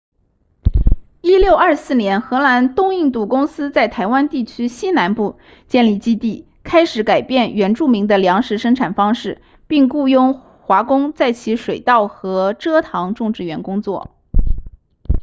1624年荷兰东印度公司在台湾地区西南部建立基地开始改变原住民的粮食生产方式并雇佣华工在其水稻和蔗糖种植园工作